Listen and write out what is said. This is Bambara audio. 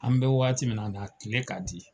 An bɛ waati min na bi a kile ka di.